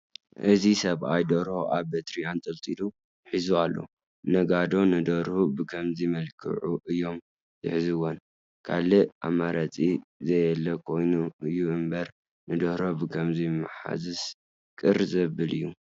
እዚ ሰብኣይ ደርሆ ኣብ በትሪ ኣንጠልጢሉ ሒዙ ኣሎ፡፡ ነጋዶ ንደርሁ ብኸምዚ መልክዑ እዮም ዝሕዝዎም፡፡ ካልእ ኣማራፂ ዘየለ ኮይኑ እዩ እምበር ንደርሆ ብኸምዚ ምሓዝስ ቅር ዘብል እዩ፡፡